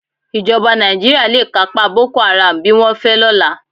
Ìjọba Nàìjíríà le kápá Boko Haram bí wọ́n fẹ́ lọ́la.